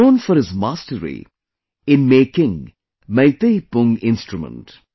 He is known for his mastery in making Meitei Pung Instrument